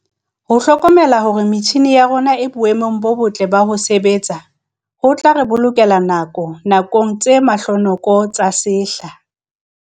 Ho hlokomela hore metjhine ya rona e boemong bo botle ba ho sebetsa ho tla re bolokela nako nakong tse mahlonoko tsa sehla.